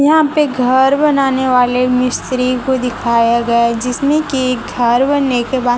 यहां पे घर बनाने वाले मिस्त्री को दिखाया गया है जिसमें कि घर बनने के बाद--